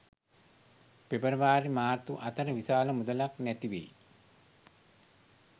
පෙබරවාරි මාර්තු අතර විශාල මුදලක් නැතිවෙයි.